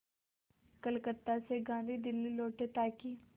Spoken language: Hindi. कलकत्ता से गांधी दिल्ली लौटे ताकि